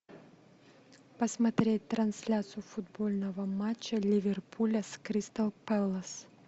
посмотреть трансляцию футбольного матча ливерпуля с кристал пэлас